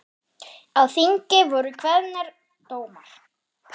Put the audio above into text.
Á þingi voru kveðnir dómar.